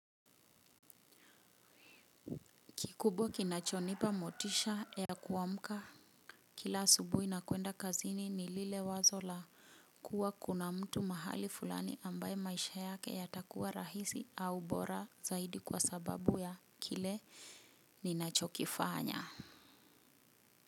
Kikubwa kinachonipa motisha ya kuwamka kila asubuhi nakuenda kazini ni lile wazo la kuwa kuna mtu mahali fulani ambaye maisha yake yatakuwa rahisi au bora zaidi kwa sababu ya kile ninachokifanya.